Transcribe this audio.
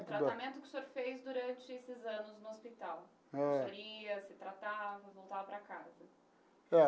O tratamento que o senhor fez durante esses anos no hospital. Ãh. Que o senhor ia, se tratava e voltava para casa. Ah.